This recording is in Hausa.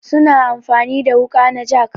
Su na amfani da wuƙa na jak.